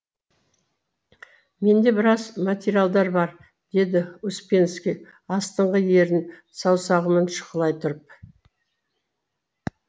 менде біраз материалдар бар деді успенский астыңғы ернін саусағымен шұқылай тұрып